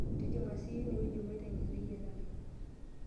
tijing'a siiyie ene wueji maiteng'ena eyiarare